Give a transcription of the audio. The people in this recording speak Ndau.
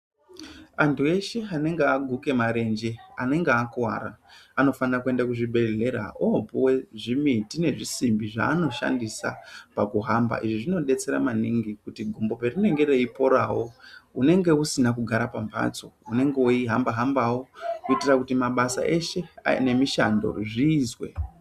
Antu eshe anenge aguka marenje anenge akuwara anofana kuenda kuzvibhehlera opiwa zvimiti nezvisimbi zvaanoshandisa pakuhamba izvi zvinodetsera maningi kuti gumbo parinenge reiporawo unenge usina kugara pamhatso unenge weihamba hambawo kuitira kuti mabasa eshe nemishando zviizwe.